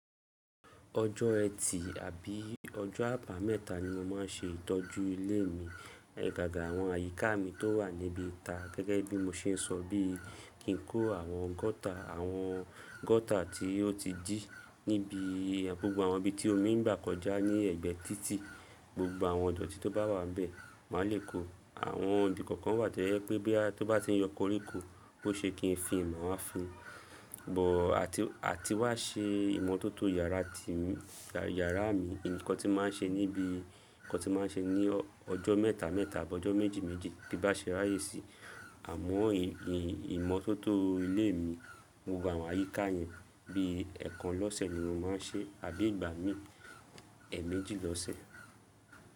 Ọjọ́ ẹtì àbí ọjọ́ àbá mẹ́ta ni mo máa ń ṣe ìtọ́jú ilé mi. Gaga àwọn àyíká mi tó wà níbi tá gẹ́gẹ́ bí mo ṣe ń sọ bí kí n kó àwọn gota, àwọn gota tí ó ti dí níbi gbogbo àwọn ibi tí omi ń gbà kọjá ní ẹ̀gbẹ́ títì. Gbogbo àwọn ìdọ̀tí tó bá wà bẹ̀ máa lè kó. Àwọn ibi kankan wà tójẹ́ pé bí a tó bá ti ń yọ koríko bó ṣe kí n fin má wá fin. Bó, àti wá, àti wá ṣe ìmọ́tótó yàrá tèmi yàrá mi ǹkan tí mo máa ń ṣe ni bí ǹkan tí mo máa ń ṣe ní ọjọ́ mẹ́ta mẹ́ta àbí ọjọ́ méjì méjì tí n bá ṣe ráyè sí. Àmọ́ ìmọ́ tótó ilé mi, gbogbo àwọn àyíká yẹn bí ẹ̀ẹ̀kan lọ́sẹ̀ ni mo má ń ṣe àbí ìgbà mí ẹ̀ẹ̀méjì lọ́sẹ̀.